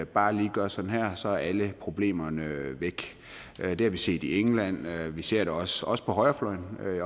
bare lige gøre sådan her og så er alle problemerne væk det har vi set i england og vi ser det også også på højrefløjen